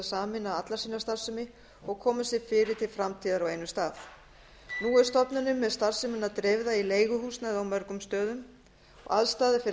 sameina alla sína starfsemi og koma sér fyrir til framtíðar á einum stað nú er stofnunin með starfsemina dreifða í leiguhúsnæði á mörgum stöðum aðstaða fyrir